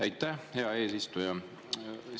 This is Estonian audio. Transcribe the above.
Aitäh, hea eesistuja!